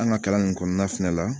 An ka kalan nin kɔnɔna fɛnɛ la